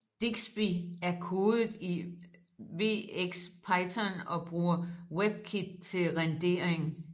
Digsby er kodet i wxPython og bruger Webkit til rendering